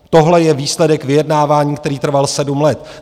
Tohle je výsledek vyjednávání, který trval sedm let.